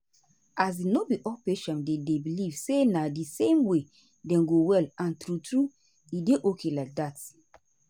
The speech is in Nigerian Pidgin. as in no be all di patient dem dey believe say na di same way dem go well and true true e dey okay like dat.